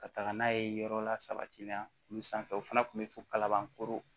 Ka taga n'a ye yɔrɔ lasabatili la olu sanfɛ o fana kun bɛ fo kalabankoro